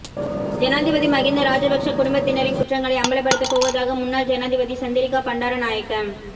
ஜனாதிபதி மகிந்த ராஜபக்ஷ குடும்பத்தினரின் குற்றங்களை அம்பலப்படுத்த போவதாக முன்னாள் ஜனாதிபதி சந்திரிகா பண்டாரநாயக்க